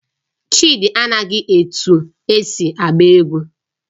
Chidi anaghị etu esi agba egwu